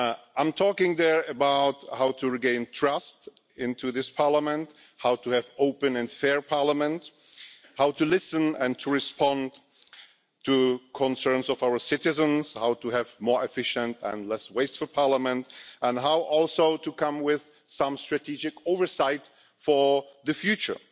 I talk there about how to regain trust in this Parliament, how to have an open and fair Parliament, how to listen and to respond to the concerns of our citizens, how to have a more efficient and less wasteful Parliament, and also how to come with some strategic oversight for the future.